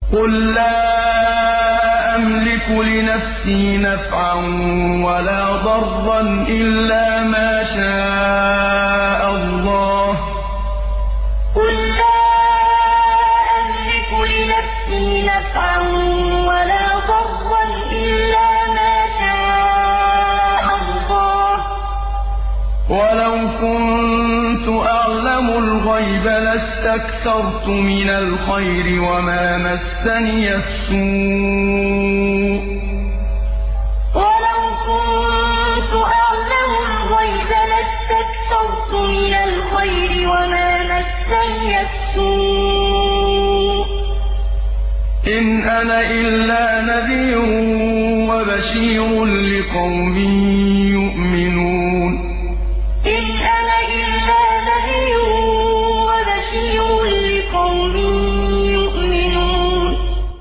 قُل لَّا أَمْلِكُ لِنَفْسِي نَفْعًا وَلَا ضَرًّا إِلَّا مَا شَاءَ اللَّهُ ۚ وَلَوْ كُنتُ أَعْلَمُ الْغَيْبَ لَاسْتَكْثَرْتُ مِنَ الْخَيْرِ وَمَا مَسَّنِيَ السُّوءُ ۚ إِنْ أَنَا إِلَّا نَذِيرٌ وَبَشِيرٌ لِّقَوْمٍ يُؤْمِنُونَ قُل لَّا أَمْلِكُ لِنَفْسِي نَفْعًا وَلَا ضَرًّا إِلَّا مَا شَاءَ اللَّهُ ۚ وَلَوْ كُنتُ أَعْلَمُ الْغَيْبَ لَاسْتَكْثَرْتُ مِنَ الْخَيْرِ وَمَا مَسَّنِيَ السُّوءُ ۚ إِنْ أَنَا إِلَّا نَذِيرٌ وَبَشِيرٌ لِّقَوْمٍ يُؤْمِنُونَ